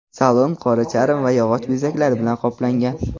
Salon qora charm va yog‘och bezaklari bilan qoplangan.